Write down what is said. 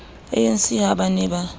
anc ha ba ne ba